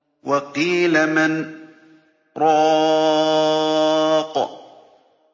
وَقِيلَ مَنْ ۜ رَاقٍ